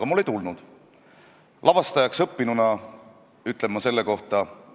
Ja nii ei ole ainult Tallinnas, nii on ka paljudes teistes väikestes Eesti linnades hotellides ja muudes kohtades.